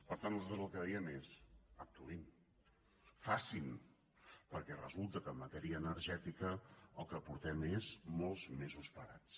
per tant nosaltres el que diem és actuïn facin perquè resulta que en matèria energètica el que portem són molts mesos parats